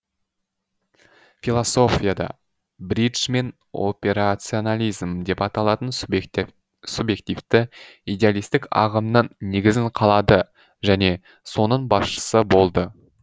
философияда бриджмен операционализм деп аталатын субъективті идеалистік ағымның негізін қалады және соның басшысы болды